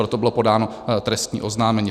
Proto bylo podáno trestní oznámení.